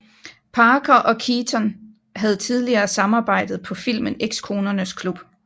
Parker og Keaton havde tidligere samarbejdet på filmen Ekskonernes klub